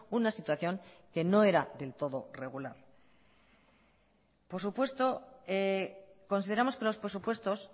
una situación que no era del todo regular por supuesto consideramos que los presupuestos